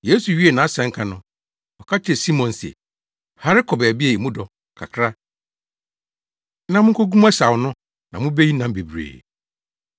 Yesu wiee nʼasɛnka no, ɔka kyerɛɛ Simon se, “Hare kɔ baabi a emu dɔ kakra na munkogu mo asau no na mubeyi nam bebree.”